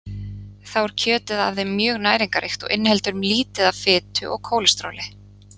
Þá er kjötið af þeim mjög næringarríkt og inniheldur lítið af fitu og kólesteróli.